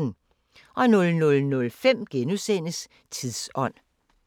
00:05: Tidsånd *